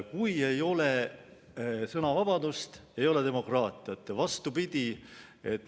Kui ei ole sõnavabadust, siis ei ole demokraatiat, ja vastupidi.